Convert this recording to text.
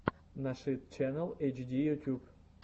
нашид ченнал эйчди ютюб